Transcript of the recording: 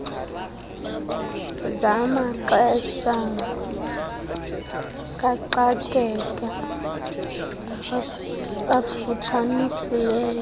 zamaxesha kaxakeka afutshanisileyo